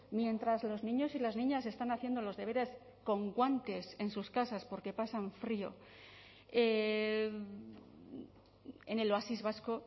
mientras los niños y las niñas están haciendo los deberes con guantes en sus casas porque pasan frío en el oasis vasco